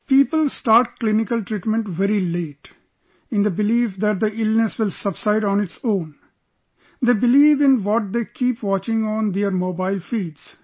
People start clinical treatment very late...in the belief that the illness will subside on its own...they believe in what they keep watching on their Mobile feeds